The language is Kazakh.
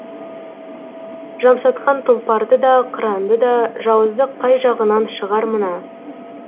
жамсатқан тұлпарды да қыранды да жауыздық қай жағынан шығар мына